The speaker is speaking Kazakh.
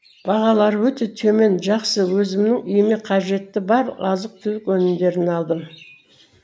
бағалары өте төмен жақсы өзімнің үйіме қажетті бар азық түлік өнімдерін алдым